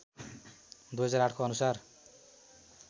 २००८ को अनुसार